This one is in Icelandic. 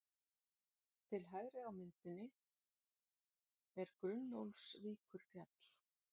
Til hægri á myndinni er Gunnólfsvíkurfjall.